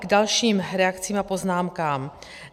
K dalším reakcím a poznámkám.